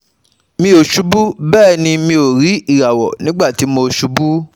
Mi ò ṣubú, bẹ́ẹ̀ ni mi ò rí ìràwọ̀ nígbà tí mo ṣubú